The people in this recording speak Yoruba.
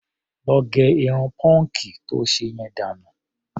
Lọ gẹrun pọ́ǹkì to ṣe yẹn dànù.